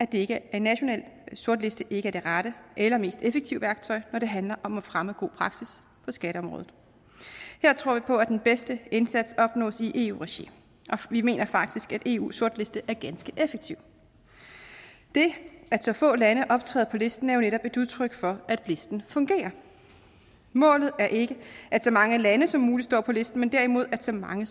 en national sortliste ikke er det rette eller mest effektive værktøj når det handler om at fremme god praksis på skatteområdet her tror vi på at den bedste indsats opnås i eu regi og vi mener faktisk at eu sortliste er ganske effektiv det at så få lande optræder på listen er jo netop et udtryk for at listen fungerer målet er ikke at så mange lande som muligt står på listen men derimod at så mange